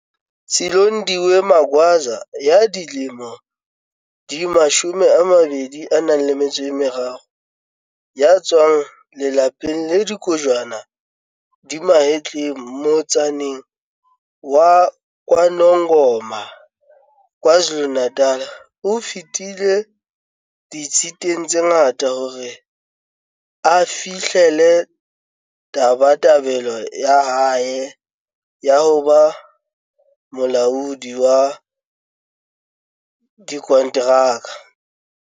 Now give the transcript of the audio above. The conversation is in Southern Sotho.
Silondiwe Magwaza ya dilemo di 23 ya tswang lelapeng le kojwana di mahetleng motsaneng wa KwaNongoma, KwaZulu-Natal, o fetile di-tshiteng tse ngata hore a fi-hlelle tabatabelo ya hae ya ho ba molaodi wa dikonteraka.